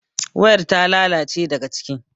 wayar ta lalace daga ciki